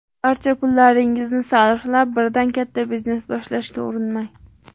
Barcha pullaringizni sarflab, birdan katta biznes boshlashga urinmang.